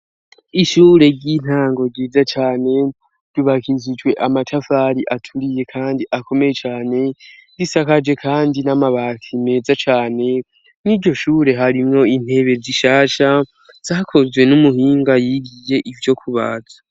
ishure ry'intango ryiza cane ryubakishijwe amatafari aturiye kandi akomeye cyane risakaje kandi n'amabati meza cane n'iryoshure harimwo intebe zishasha zakozwe n'umuhinga yigiye ivyo kubaza